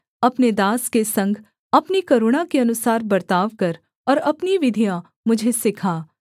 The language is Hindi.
अपने दास के संग अपनी करुणा के अनुसार बर्ताव कर और अपनी विधियाँ मुझे सिखा